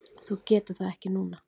Þú getur það ekki núna?